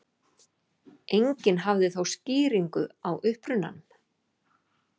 Enginn hafði þó skýringu á upprunanum.